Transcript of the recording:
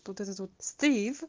стих